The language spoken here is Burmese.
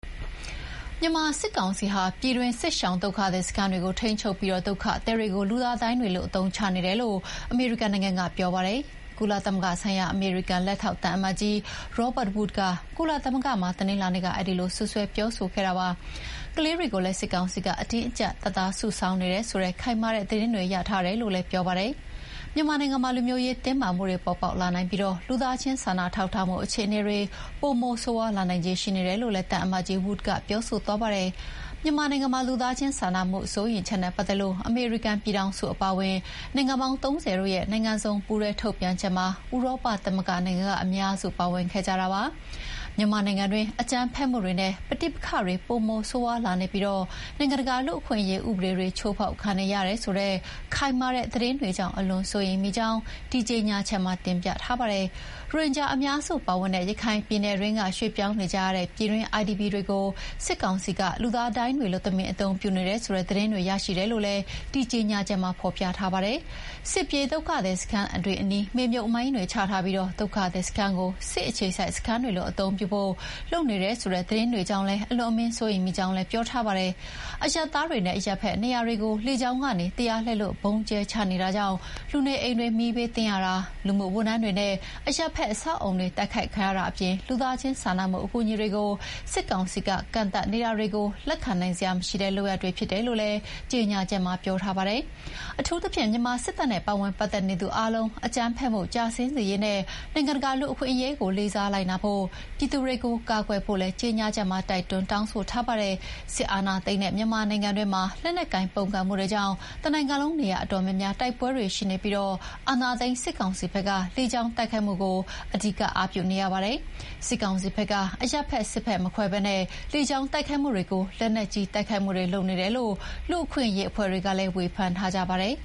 မြန်မာစစ်ကောင်စီဟာ ပြည်တွင်းစစ်ရှောင်ဒုက္ခသည်စခန်းတွေကို ထိန်းချုပ်ပြီး ဒုက္ခသည်တွေကို လူသားဒိုင်းတွေလို အသုံးချနေတယ်လို့ အမေရိကန်နိုင်ငံကပြောပါတယ်။ ကုလသမဂ္ဂဆိုင်ရာ အမေရိကန် လက်ထောက် သံအမတ်ကြီး Robert Wood က ကုလသမဂ္ဂမှာ တနင်္လာနေ့က အဲဒီလို စွပ်စွဲပြောဆိုခဲ့တာပါ။ ကလေးတွေကိုလည်း စစ်ကောင်စီက အတင်းအကြပ်တပ်သားစုဆောင်းနေတယ်ဆိုတဲ့ ခိုင်မာတဲ့သတင်းတွေရထားတယ်လို့လည်းပြောပါတယ်။ မြန်မာနိုင်ငံမှာ လူမျိုးရေးတင်းမာမှုတွေပေါ်ပေါက်လာနိုင်ပြီး လူသားချင်းစာနာထောက်ထားမှုအခြေအနေတွေ ပိုမိုဆိုးရွားလာနိုင်ခြေရှိနေတယ်လို့လည်း သံအမတ်ကြီး Wood ကပြောသွားပါတယ်။ မြန်မာနိုင်ငံလူသားချင်းစာနာမှုစိုးရိမ်ချက်နဲ့ပတ်သက်လို့ အမေရိကန်ပြည်ထောင်စုအပါအဝင် နိုင်ငံပေါင်း ၃၀ ရဲ့ နိုင်ငံစုံ ပူးတွဲထုတ်ပြန်ချက်မှာ ဥရောပသမဂ္ဂနိုင်ငံအများစု ပါဝင်ခဲ့ကြပါတယ်။ မြန်မာနိုင်ငံတွင်း အကြမ်းဖက်မှုတွေနဲ့ ပဋိပက္ခတွေ ပိုမိုဆိုးရွားလာနေပြီး နိုင်ငံတကာလူ့အခွင့်အရေးဥပဒေတွေ ချိုးဖောက်ခံနေရတယ်ဆိုတဲ့ ခိုင်မာတဲ့သတင်းတွေကြောင့် အလွန်စိုးရိမ်မိကြောင်း ဒီကြေညာချက်မှာဖော်ပြပါတယ်။ ရိုဟင်ဂျာအများစုပါဝင်တဲ့ ရခိုင်ပြည်နယ်တွင်းက ရွှေ့ပြောင်းနေကြရတဲ့ ပြည်တွင်း IDP တွေကို စစ်ကောင်စီက လူသားဒိုင်းတွေလို တမင်အသုံးပြုနေတယ်ဆိုတဲ့သတင်းတွေရရှိတယ်လို့ ဒီကြေညာချက်မှာဖော်ပြထားပါတယ်။ စစ်ပြေးဒုက္ခသည်စခန်းတွေအနီး မြေမြှုပ်မိုင်းတွေချပြီး ဒုက္ခသည်စခန်းကို စစ်အခြေစိုက်စခန်းတွေလိုအသုံးပြုဖို့လုပ်နေတယ်ဆိုတဲ့သတင်းကြောင့်လည်း အလွန်အမင်းစိုးရိမ်ကြောင်းလည်း ပြောထားပါတယ်။ အရပ်သားတွေနဲ့ အရပ်ဖက်နေရာတွေကို လေကြောင်းကနေ တရားလက်လွတ်ဗုံးကြဲချနေတာကြောင့် လူနေအိမ်တွေမီးဘေးသင့်ရတာ၊ လူမှုဝန်ထမ်းတွေနဲ့အရပ်ဖက်အဆောက်အအုံတွေ တိုက်ခိုက်တာအပြင် လူသားချင်းစာနာမှုအကူအညီတွေကို စစ်ကောင်စီက ကန့်သတ်နေတာတွေကို လက်ခံနိုင်စရာမရှိတဲ့လုပ်ရပ်တွေဖြစ်တယ်လို့လည်း ကြေညာချက်မှာ ပြောထားပါတယ်။ အထူးသဖြင့် မြန်မာစစ်တပ်နဲ့ ပါဝင်ပတ်သက်နေသူအားလုံး အကြမ်းဖက်မှုကျဆင်းစေရေးနဲ့ နိုင်ငံတကာလူ့အခွင့်အရေးကို လေးစားလိုက်နာဖို့၊ ပြည်သူတွေကို ကာကွယ်ဖို့လည်း ကြေညာချက်မှာ တိုက်တွန်းတောင်းဆိုထားပါတယ်။ စစ်အာဏာသိမ်းထားတဲ့ မြန်မာနိုင်ငံတွင်းမှာ လက်နက်ကိုင်ပုန်ကန်မှုတွေကြောင့် တနိုင်ငံလုံးနေရာအတော်များများ တိုက်ပွဲတွေရှိနေပြီး အာဏာသိမ်းစစ်ကောင်စီဘက်က လေကြောင်းတိုက်ခိုက်မှုကို အဓိကအားပြုနေရပါတယ်။ စစ်ကောင်စီဘက်က အရပ်ဖက် စစ်ဖက်မခွဲပဲ လေကြောင်းတိုက်ခိုက်မှုတွေ၊ လက်နက်ကြီးတိုက်ခိုက်မှုတွေလုပ်နေတယ်လို့ လူ့အခွင့်အရေးအဖွဲ့တွေကလည်း ဝေဖန်ထားကြပါတယ်